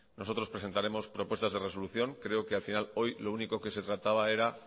nosotros presentaremos propuestas de resolución creo que al final hoy lo único que se trataba era